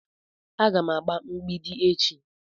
Aga m agba mgbidi echi